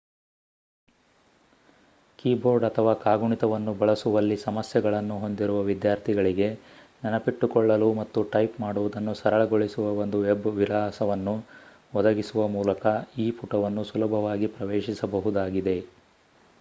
keyboard ಅಥವಾ ಕಾಗುಣಿತವನ್ನು ಬಳಸುವಲ್ಲಿ ಸಮಸ್ಯೆಗಳನ್ನು ಹೊಂದಿರುವ ವಿದ್ಯಾರ್ಥಿಗಳಿಗೆ ನೆನಪಿಟ್ಟುಕೊಳ್ಳಲು ಮತ್ತು ಟೈಪ್ ಮಾಡುವುದನ್ನು ಸರಳಗೊಳಿಸುವ ಒಂದು ವೆಬ್ ವಿಳಾಸವನ್ನು ಒದಗಿಸುವ ಮೂಲಕ ಈ ಪುಟವನ್ನು ಸುಲಭವಾಗಿ ಪ್ರವೇಶಿಸಬಹುದಾಗಿದೆ